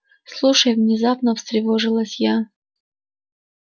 слушай внезапно встревожилась я